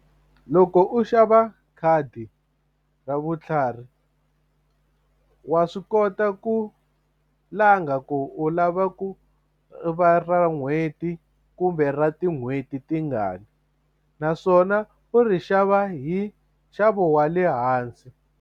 Loko u xava khadi ra vutlhari wa swi kota ku langa ku u lava ku va ra n'hweti kumbe ra tin'hweti tingani naswona u ri xava hi nxavo wa le hansi.